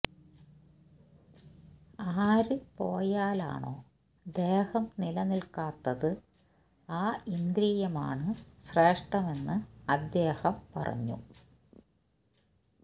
ആര് പോയാലാണോ ദേഹം നിലനില്ക്കാത്തത് ആ ഇന്ദ്രിയമാണ് ശ്രേഷ്ഠമെന്ന് അദ്ദേഹം പറഞ്ഞു